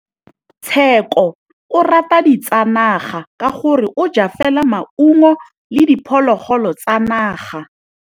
Tshekô o rata ditsanaga ka gore o ja fela maungo le diphologolo tsa naga.